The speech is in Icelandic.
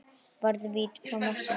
Varði víti frá Messi.